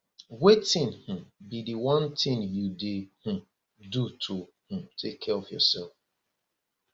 wetin um be di one thing you dey um do to um take care of yourself